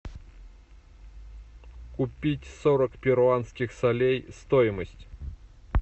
купить сорок перуанских солей стоимость